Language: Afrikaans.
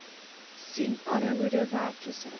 sien armoede werkloosheid